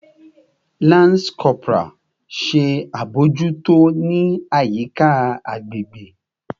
Lance Corporal! Ṣe abojuto ni ayika agbegbe